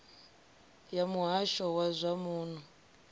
ya muhasho wa zwa muno